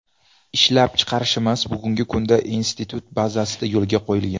Ishlab chiqarishimiz bugungi kunda institut bazasida yo‘lga qo‘yilgan.